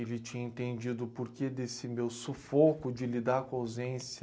Ele tinha entendido o porquê desse meu sufoco de lidar com a ausência.